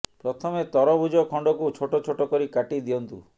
ପ୍ରଥମେ ତରଭୂଜ ଖଣ୍ଡକୁ ଛୋଟ ଛୋଟ କରି କାଟି ଦିଅନ୍ତୁ